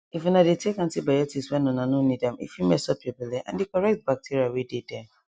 if una dey take antibiotics when una no need ame fit mess up your belle and the correct bacteria wey dey there